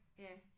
Ja